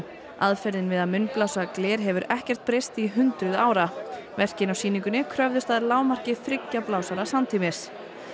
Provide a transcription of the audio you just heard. aðferðin við að munnblása gler hefur ekkert breyst í hundruði ára verkin á sýningunni kröfðust að þriggja blásara samtímis